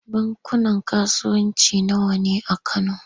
Bankunan kasuwanci nawa ne a Kano?